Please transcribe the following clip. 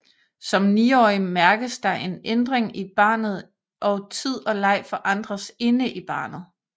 Som 9 årig mærkes der en ændring i barnet og tid og leg forandres inde i barnet